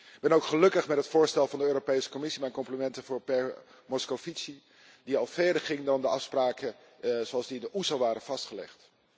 Ik ben ook gelukkig met het voorstel van de Europese Commissie, mijn complimenten voor mijnheer Moscovici, die al verder ging dan de afspraken zoals die door de OESO waren vastgelegd.